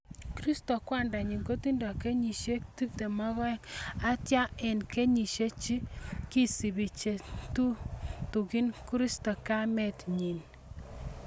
Kisirto kwanda nyin kotindo kenyisiek 12, atia eng' kenyisiek chi kisubi che tutugin kosirto kamet nyin.